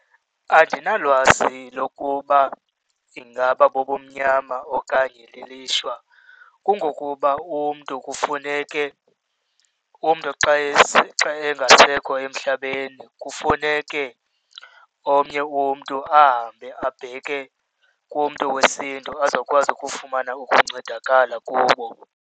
Andinalwazi lokuba ingaba bubumnyama okanye lilishwa kungokuba umntu kufuneke, umntu xa engasekho emhlabeni kufuneke omnye umntu ahambe abheke kumntu wesiNtu azokwazi ukufumana ukuncedakala kubo.